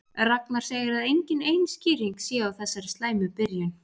Ragnar segir að engin ein skýring sé á þessari slæmu byrjun.